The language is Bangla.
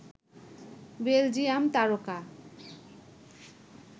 বেলজিয়াম তারকা